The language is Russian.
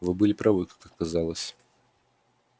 вы были правы как оказалось